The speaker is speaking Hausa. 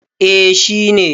eh shi ne